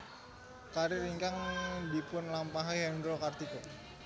Karir ingkang dipunlampahi Hendro Kartiko